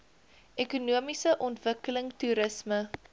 ekonomiese ontwikkeling toerisme